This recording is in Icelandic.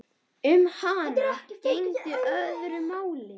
Um hana gegndi öðru máli.